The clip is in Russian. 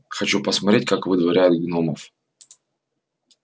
хочу посмотреть как выдворяют гномов